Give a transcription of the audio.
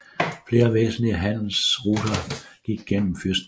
Flere væsentlige handelsruter gik gennem fyrstendømmet